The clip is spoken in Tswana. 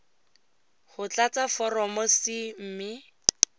go tlatsa foromo c mme